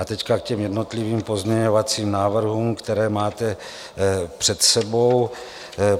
A teď k těm jednotlivým pozměňovacím návrhům, které máte před sebou.